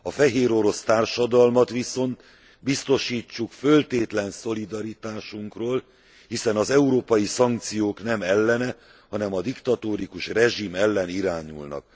A fehérorosz társadalmat viszont biztosítsuk föltétlen szolidaritásunkról, hiszen az európai szankciók nem ellene, hanem a diktatórikus rezsim ellen irányulnak.